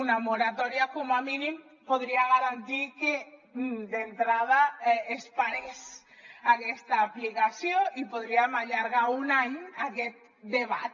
una moratòria com a mínim podria garantir que d’entrada es parés aquesta aplicació i podríem allargar un any aquest debat